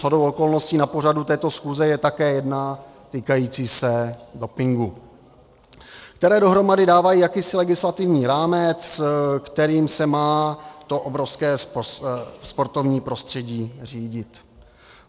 Shodou okolností na pořadu této schůze je také jedna týkající se dopingu, které dohromady dávají jakýsi legislativní rámec, kterým se má to obrovské sportovní prostředí řídit.